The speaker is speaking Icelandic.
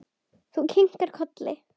Þú kinkar kolli.